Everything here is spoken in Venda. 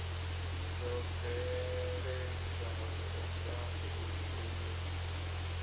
dzo bveledzwaho nga u shumiswa